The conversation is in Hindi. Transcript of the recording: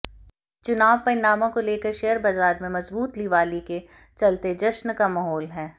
चुनाव परिणामों को लेकर शेयर बाजार में मजबूत लिवाली के चलते जश्न का माहौल है